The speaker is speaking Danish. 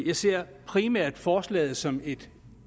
jeg ser primært forslaget som et